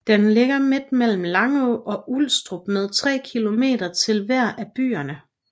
Den ligger midt mellem Langå og Ulstrup med 3 kilometer til hver af byerne